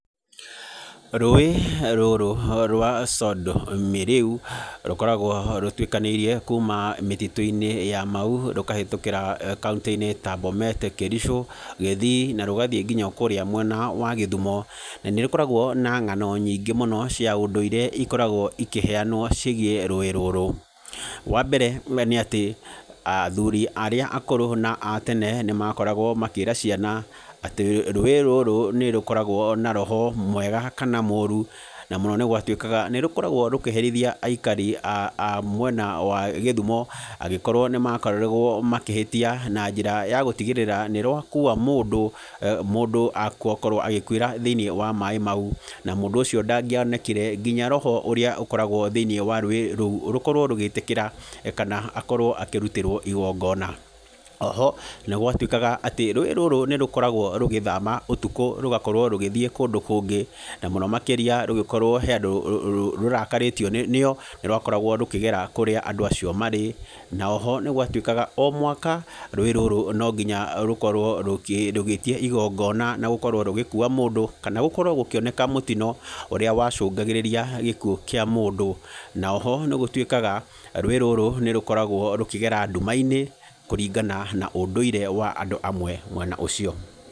Rũĩ rũrũ rwa Sondu Miriu, rũkoragwo rũtuĩkanĩirie kuuma mĩtitũ-inĩ ya Mau, rũkahetũkĩra kauntĩ-inĩ ta Bomet, Kericho, Kisii, na rũgathiĩ nginya o kũũrĩa mwena wa Kisumu. Nĩ rũkoragwo na ng'ano nyingĩ mũno cia ũndũire, ikoragwo ikĩheanwo ciĩgiĩ rũĩ rũrũ. Wa mbere we nĩ atĩ, athuuri arĩa akũrũ na a tene, nĩ makoragwo makĩĩra ciana, atĩ rũĩ rũrũ nĩ rũkoragwo na roho mwega kana mũũru, na mũno nĩ gwatuĩkaga nĩ rũkoragwo rũkĩherithia aikara a a mwena wa Kisumu, angĩkorwo nĩ makoragwo makĩhĩtia na njĩra ya gũtigĩrĩra nĩ rwakua mũndũ, mũndũ akorwo agĩkuĩra thĩiniĩ wa maĩ mau. Na mũndũ ũcio ndangĩonekire, nginya roho ũrĩa ũkoragwo thĩiniĩ wa rũĩ rũo, rũkorwo rũgĩtĩkĩra, kana akorwo akĩrutĩrwo igingona. Oho, nĩ gwatuĩkaga atĩ, rũĩ rũrũ nĩ rũkoragwo rũgĩthama ũtukũ rũgakorwo rũgĩthiĩ kũndũ kũngĩ, na mũno makĩria rũngĩkorwo he andũ rũrakarĩtio nĩo, nĩ rwakoragwo rũkĩgera kũrĩa andũ acio marĩ. Na oho nĩ gwatuĩkaga, o mwaka, rũĩ rũrũ no nginya rũkorwo rũgĩtia igingona na gũkorwo rũgĩkuua mũndũ. Kana gũkorwo gũkĩoneka mũtino, ũrĩa wacũngagĩrĩria gĩkuũ kĩa mũndũ. Na oho nĩ gũtuĩkaga, rũĩ rũrũ nĩ rũkoragwo rũkĩgera nduma-inĩ, kũringana na ũndũire wa andũ amwe mwena ũcio.